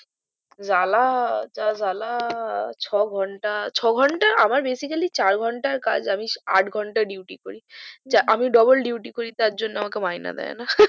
জ্বালা যা জ্বালা ছ ঘন্টা ছ ঘন্টা আমার besecale চার ঘন্টার কাজ আমি আট ঘন্টা deauty করি আমি double deauty করি তার জন্য আমাকে মাইনে দেয় না